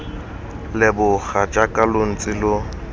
leboga jaaka lo ntse lo